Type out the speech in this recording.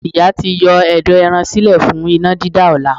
Ìyá ti yọ ẹ̀dọ̀ ẹran sílẹ̀ fún iná dídá ọ̀la.